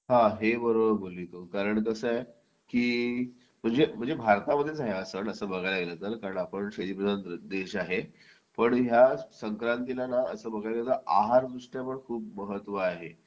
आहे बरोबर बोलली तू कारण कसा आहे की म्हणजे भारतामध्येच आहे हा सण तसं बघायला गेलं तर पण आपला शेतीप्रधान देश आहे पण या संक्रांतीला ना असं बघायला गेलं तर आहार दृष्ट्या पण खूप महत्त्व आहे